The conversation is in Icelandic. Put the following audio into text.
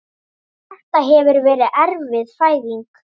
Þetta hefur verið erfið fæðing.